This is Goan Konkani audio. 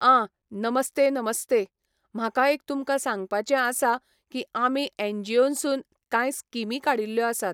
आं नमस्ते नमस्ते, म्हाका एक तुमकां सांगपाचें आसा की आमी एनजीओनसून कांय स्कीमी काडिल्ल्यो आसात